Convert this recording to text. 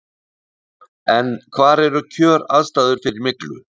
En hvar eru kjöraðstæður fyrir myglu?